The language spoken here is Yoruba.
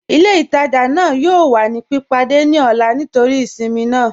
Ilẹ̀-itajà naa yọọ̀ wà ni pípádẹ̀ ni ọlá nítorí ìṣinmí naa.